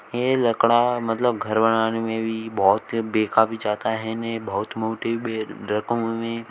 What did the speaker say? ये लकड़ा मतलब घर बनाने में भी बहोत से बेखा भी जाता है हैने बहुत मोटे में रकमो में--